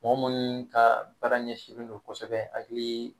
Mɔgɔ munnu ka baara ɲɛsinlen do kosɛbɛ hakili